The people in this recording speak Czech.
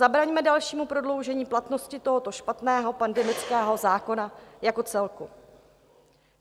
Zabraňme dalšímu prodloužení platnosti tohoto špatného pandemického zákona jako celku.